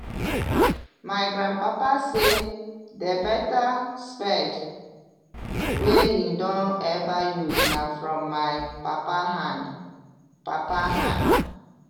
my grand papa say the beta spade wey him don ever use na from my papa hand. papa hand.